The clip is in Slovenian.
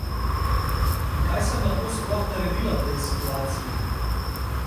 In kaj sem lahko sploh naredila v tej situaciji?